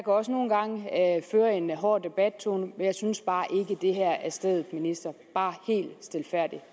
også nogle gange føre en hård debattone men jeg synes bare ikke at det her er stedet bare helt stilfærdigt